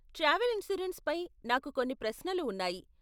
Travel insurance పై నాకు కొన్ని ప్రశ్నలు ఉన్నాయి.